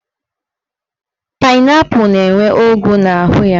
Painaipu na-enwe ọgwụ n'ahụ ya.